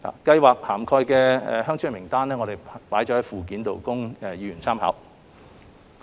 計劃涵蓋的鄉村名單載於附件，供議員參考。